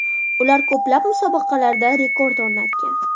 Ular ko‘plab musobaqalarda rekord o‘rnatgan.